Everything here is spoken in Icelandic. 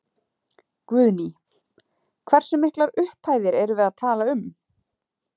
Guðný: Hversu miklar upphæðir erum við að tala um?